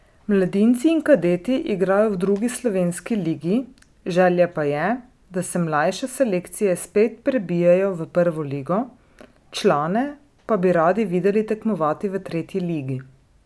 Mladinci in kadeti igrajo v drugi slovenski ligi, želja pa je, da se mlajše selekcije spet prebijejo v prvo ligo, člane pa bi radi videli tekmovati v tretji ligi.